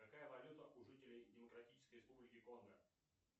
какая валюта у жителей демократической республики конго